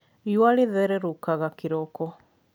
riua rĩthererũkaga kĩroko